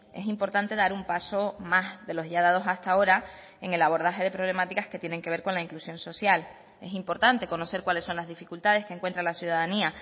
es importante dar un paso más de los ya dados hasta ahora en el abordaje de problemáticas que tienen que ver con la inclusión social es importante conocer cuáles son las dificultades que encuentra la ciudadanía